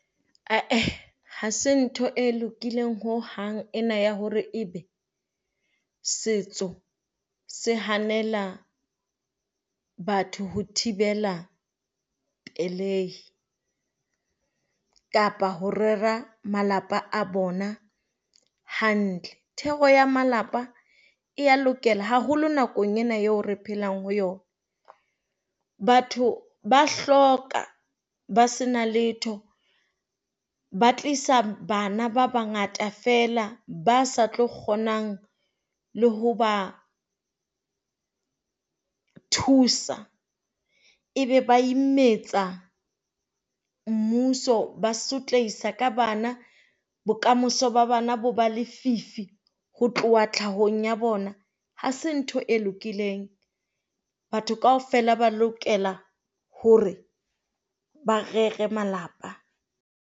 Aa, ha se ntho e lokileng ho hang ena ya hore e be setso se hanela batho ho thibela pelei kapa ho rera malapa a bona hantle. Thero ya malapa e a lokela haholo nakong ena eo re phelang ho yona. Batho ba hloka ba sena letho ba tlisa bana ba bangata fela ba sa tlo kgonang le ho ba thusa e be ba imetsa mmuso. Ba sotlehisa ka bana, bokamoso ba bana bo ba lefifi ho tloha tlhahong ya bona. Ha se ntho e lokileng. Batho kaofela ba lokela hore ba rere malapa.